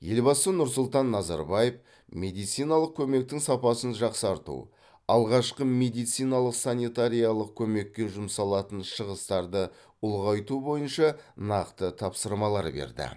елбасы нұрсұлтан назарбаев медициналық көмектің сапасын жақсарту алғашқы медициналық санитариялық көмекке жұмсалатын шығыстарды ұлғайту бойынша нақты тапсырмалар берді